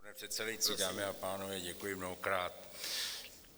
Pane předsedající, dámy a pánové, děkuji mnohokrát.